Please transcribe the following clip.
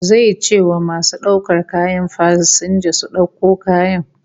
Zai ce wa masu daukar kayan fasinja su dauko kayan